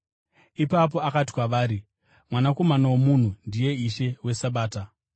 Ipapo akati kwavari, “Mwanakomana woMunhu ndiye Ishe weSabata.”